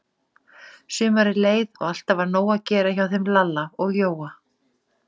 Sumarið leið og alltaf var nóg að gera hjá þeim Lalla og Jóa.